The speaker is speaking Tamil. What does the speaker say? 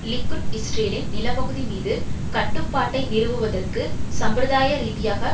லிக்குட் இஸ்ரேலின் நிலப்பகுதி மீது கட்டுப்பாட்டை நிறுவுதற்கு சம்பிரதாய ரீதியாக